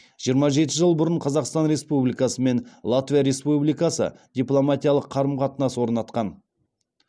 жиырма жеті жыл бұрын қазақстан республикасы мен латвия республикасы дипломатиялық қарым қатынас орнатқан